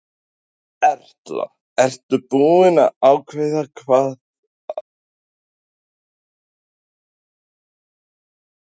Erla: Ertu búin að ákveða hvað þú ætlar að verða þegar þú verður stór?